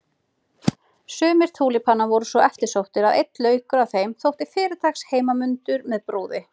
Sumir túlípanar voru svo eftirsóttir að einn laukur af þeim þótti fyrirtaks heimanmundur með brúði.